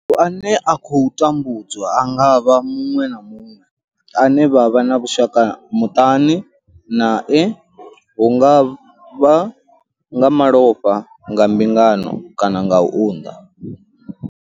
Muthu ane a khou vha tambudzwa a nga vha muṅwe na muṅwe ane vha vha na vhushaka muṱani nae hu nga vha nga malofha, nga mbingano kana u unḓa.